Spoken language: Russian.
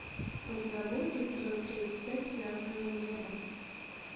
у тебя будет эпизод тридцать пять связанные небом